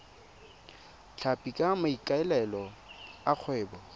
tlhapi ka maikaelelo a kgwebo